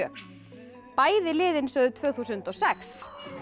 bæði liðin sögðu tvö þúsund og sex